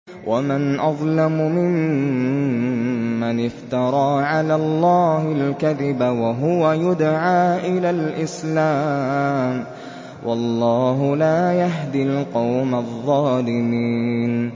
وَمَنْ أَظْلَمُ مِمَّنِ افْتَرَىٰ عَلَى اللَّهِ الْكَذِبَ وَهُوَ يُدْعَىٰ إِلَى الْإِسْلَامِ ۚ وَاللَّهُ لَا يَهْدِي الْقَوْمَ الظَّالِمِينَ